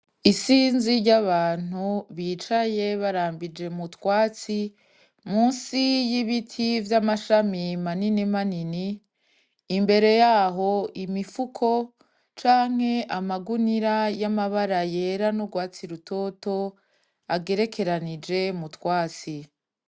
Isinzi ry'abantu bicaye barambije m'utwatsi musi y'ibiti vy'amashami maninimanini, imbere yaho imifuko canke amagunira yamabara yera n'urwatsi rutoto agerekeranije m'utwatsi.